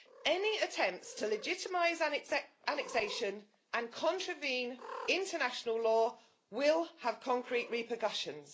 Any attempts to legitimise annexation and contravene international law will have concrete repercussions.